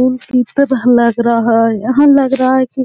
यहाँ लगा रहा है कि